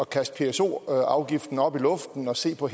kaste pso afgiften op i luften og se på